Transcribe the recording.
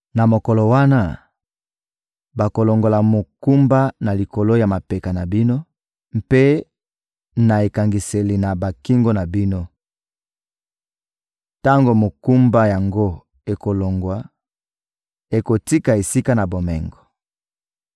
Na mokolo wana, bakolongola mokumba na likolo ya mapeka na bino mpe na ekangiseli na bakingo na bino. Tango mokumba yango ekolongwa, ekotika esika na bomengo.